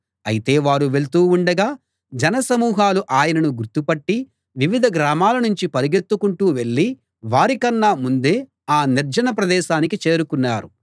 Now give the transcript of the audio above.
అయితే వారు వెళ్తూ ఉండగా జనసమూహాలు ఆయనను గుర్తుపట్టి వివిధ గ్రామాల నుంచి పరిగెత్తుకుంటూ వెళ్ళి వారికన్నా ముందే ఆ నిర్జన ప్రదేశానికి చేరుకున్నారు